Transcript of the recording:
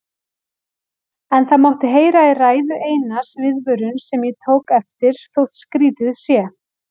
En það mátti heyra í ræðu Einars viðvörun sem ég tók eftir, þótt skrýtið sé.